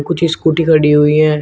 कुछ स्कूटी खड़ी हुई है।